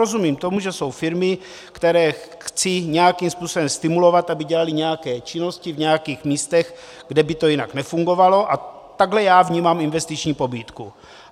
Rozumím tomu, že jsou firmy, které chci nějakým způsobem stimulovat, aby dělaly nějaké činnosti v nějakých místech, kde by to jinak nefungovalo, a takhle já vnímám investiční pobídku.